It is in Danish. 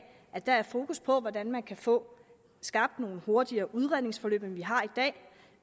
at der er fokus på hvordan man kan få skabt nogle hurtigere udredningsforløb end vi har i dag